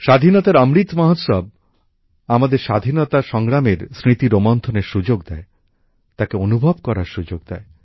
স্বাধীনতার অমৃত মহোৎসব আমাদের স্বাধীনতা সংগ্রামের স্মৃতি রোমন্থনের সুযোগ দেয় তাকে অনুভব করার সুযোগ দেয়